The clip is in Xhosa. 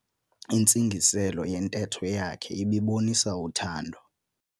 Intsingiselo yentetho yakhe ibibonisa uthando.